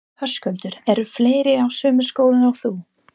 Höskuldur: Eru fleiri á sömu skoðun og þú?